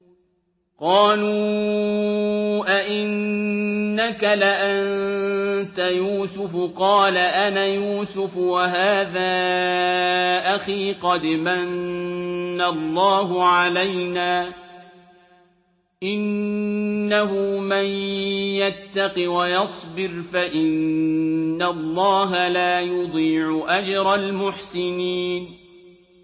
قَالُوا أَإِنَّكَ لَأَنتَ يُوسُفُ ۖ قَالَ أَنَا يُوسُفُ وَهَٰذَا أَخِي ۖ قَدْ مَنَّ اللَّهُ عَلَيْنَا ۖ إِنَّهُ مَن يَتَّقِ وَيَصْبِرْ فَإِنَّ اللَّهَ لَا يُضِيعُ أَجْرَ الْمُحْسِنِينَ